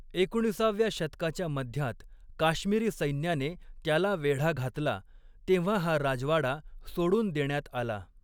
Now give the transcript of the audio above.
एकोणीसाव्या शतकाच्या मध्यात काश्मिरी सैन्याने त्याला वेढा घातला तेव्हा हा राजवाडा सोडून देण्यात आला.